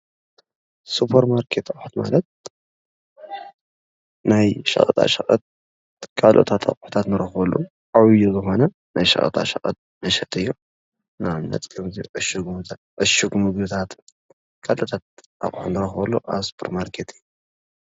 ስፖርማርኬት ክበሃል ዝክእል ናይ ሸቀጣሸቀጥ እንረክበሉ ዓብይናይ ሸቀጣሸቀጥ መሸጢ እዩ። ንኣብነት፦ ዕሹግ ምግብታት ብቀጥታ እንረክበሉ ስፖር ማርኬት እዩ።